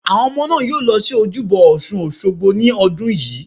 Àwọn ọmọ náà yóò lọ sí Ojúbọ ọ̀sun Òsogbo ní ọdún yìí